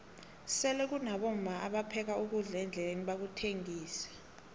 sele kunabomma apheka ukudla endleleni bakuthengixe